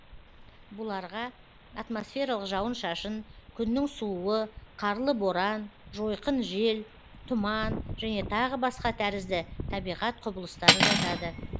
бұларға атмосфералық жауын шашын күннің сууы қарлы боран жойқын жел тұман және тағы басқа тәрізді табиғат құбылыстары жатады